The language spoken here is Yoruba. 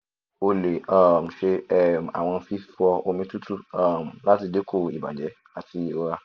o le um ṣe um awọn fifọ omi tutu um lati dinku ibajẹ ati irora